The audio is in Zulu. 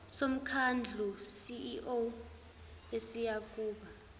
somkhandlu ceo esiyakuba